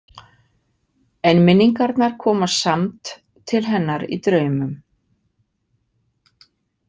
En minningarnar koma samt til hennar í draumum.